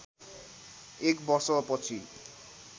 एक वर्षपछि